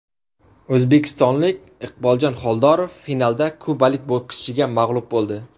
O‘zbekistonlik Iqboljon Xoldorov finalda kubalik bokschiga mag‘lub bo‘ldi.